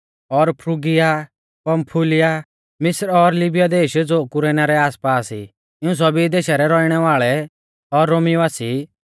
और Phrygia Pamphylia मिस्र और लीबिया देश ज़ो कुरेना रै आसपास ई इऊं सभी देशा रै रौइणै वाल़ै और रोमी वासी